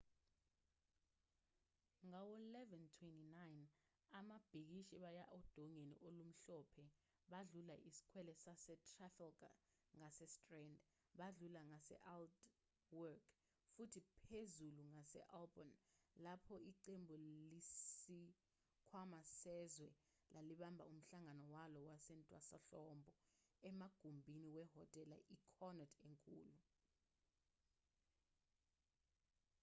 ngawo-11:29 ababhikishi baya odongeni olumhlophe badlula isikwele sasetrafalgar ngasestrand badlula ngase-aldwych futhi phezulu ngaseholborn lapho iqembu lesikhwama sezwe lalibambe umhlangano walo wasentwasahlobo emagumbini wehhotela i-connaught enkulu